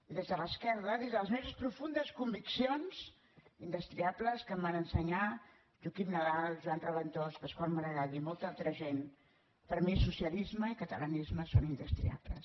i des de l’esquerra des de les meves profundes conviccions indestriables que em van ensenyar joaquim nadal joan raventós pascual maragall i molta altra gent per mi socialisme i catalanisme són indestriables